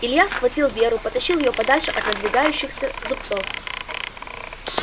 илья схватил веру потащил её подальше от надвигающихся зубцов